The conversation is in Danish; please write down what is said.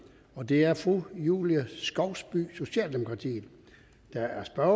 og det er fru julie skovsby socialdemokratiet der er spørger